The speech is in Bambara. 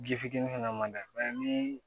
Ji fitini fana ma da ni